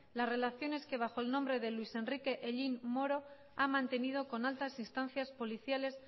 las relaciones que bajo el nombre de luis enrique hellín moro ha mantenido con altas instancias policiales